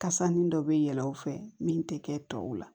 Kasani dɔ bɛ yɛlɛn u fɛ min tɛ kɛ tɔw la